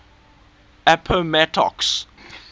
appomattox